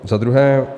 Za druhé.